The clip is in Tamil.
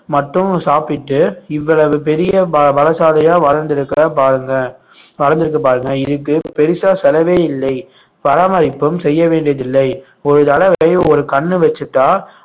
மட்டும் சாப்பிட்டு இவ்வளவு பெரிய ப~ பலசாலியா வளர்ந்திருக்கிற பாருங்க வளர்ந்திருக்கு பாருங்க இதுக்கு பெருசா செலவை இல்லை பராமரிப்பும் செய்ய வேண்டியதில்லை ஒரு தடவை ஒரு கண்ணு வச்சுட்டா